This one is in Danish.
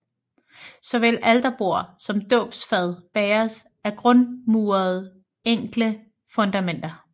Såvel alterbord som dåbsfad bæres af grundmurede enkle fundamenter